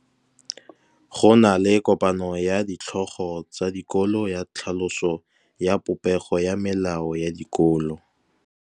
Go na le kopanô ya ditlhogo tsa dikolo ya tlhaloso ya popêgô ya melao ya dikolo.